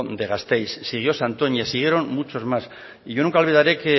de gasteiz siguió santoña siguieron muchos más y yo nunca olvidaré